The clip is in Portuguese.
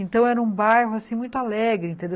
Então, era um bairro, assim, muito alegre, entendeu?